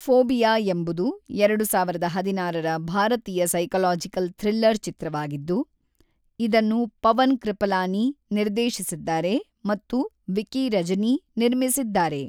Phobia ಎಂಬುದು ಎರಡು ಸಾವಿರದ ಹದಿನಾರರ ಭಾರತೀಯ ಸೈಕಲಾಜಿಕಲ್ ಥ್ರಿಲ್ಲರ್ ಚಿತ್ರವಾಗಿದ್ದು, ಇದನ್ನು ಪವನ್ ಕೃಪಲಾನಿ ನಿರ್ದೇಶಿಸಿದ್ದಾರೆ ಮತ್ತು ವಿಕಿ ರಜನಿ ನಿರ್ಮಿಸಿದ್ದಾರೆ.